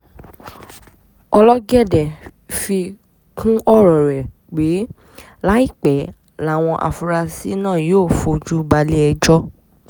ológọ́dé fi kún ọ̀rọ̀ rẹ̀ pé láìpẹ́ làwọn afurasí náà yóò fojú balẹ̀-ẹjọ́